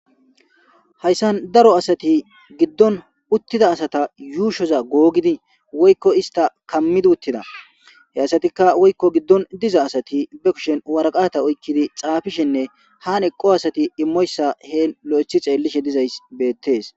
Hayisan daro asati gidon utida asata yushoza gogidi woyiko ista kamidi utida he asatika woyiko gidon diza asati ba kusheni woraqata oyiqidi xafishe nne hani eqo asati imoyisa loyithi xelishe dizayisa beses